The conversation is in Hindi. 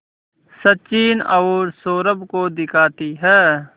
सचिन और सौरभ को दिखाती है